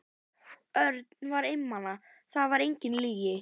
Örn var einmana, það var engin lygi.